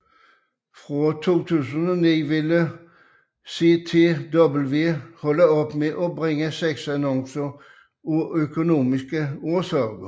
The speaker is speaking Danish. Fra 2009 ville CTW slutte med bringe sexannoncer af økonomiske årsager